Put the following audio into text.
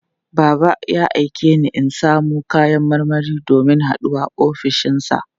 Baba ya aike ni in samo kayan marmari domin haɗuwar ofishinsa.